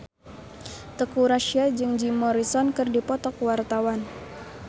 Teuku Rassya jeung Jim Morrison keur dipoto ku wartawan